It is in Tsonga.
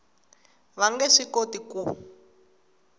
va nge swi koti ku